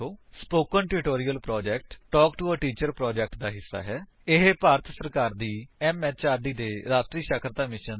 spoken tutorial project talk to a teacher project ਦਾ ਹਿੱਸਾ ਹੈ ਇਹ ਭਾਰਤ ਸਰਕਾਰ ਦੀ ਐਮਐਚਆਰਡੀ ਦੇ ਰਾਸ਼ਟਰੀ ਸਾਖਰਤਾ ਮਿਸ਼ਨ ਥ੍ਰੋ ਆਈਸੀਟੀ ਰਾਹੀਂ ਸੁਪੋਰਟ ਕੀਤਾ ਗਿਆ ਹੈ